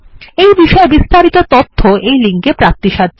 এই বিষয়ে বিস্তারিত তথ্য এই লিঙ্কে প্রাপ্তিসাধ্য